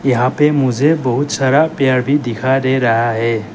यहां पे मुझे बहोत सारा पेड़ भी दिखाई दे रहा है।